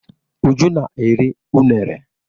Uju na-eri unere.